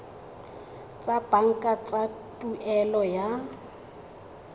tsa banka tsa tuelo ya